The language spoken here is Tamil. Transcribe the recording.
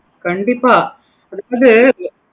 கண்டிப்பா அது வந்து